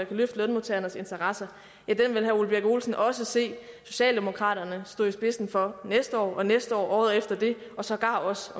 kan løfte lønmodtagernes interesser vil herre ole birk olesen også se socialdemokraterne stå i spidsen for næste år næste år igen året efter det og sågar også